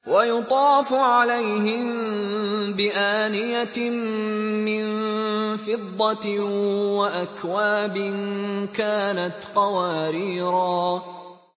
وَيُطَافُ عَلَيْهِم بِآنِيَةٍ مِّن فِضَّةٍ وَأَكْوَابٍ كَانَتْ قَوَارِيرَا